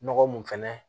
Nɔgɔ mun fɛnɛ